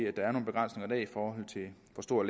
hvor store